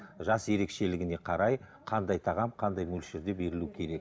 жас ерекшелігіне қарай қандай тағам қандай мөлшерде берілуі керек